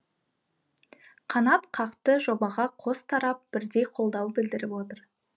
қанат қақты жобаға қос тарап бірдей қолдау білдіріп отыр